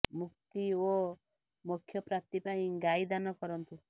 ମୁକ୍ତି ଓ ମୋକ୍ଷ ପ୍ରାପ୍ତି ପାଇଁ ଗାଈ ଦାନ କରନ୍ତୁ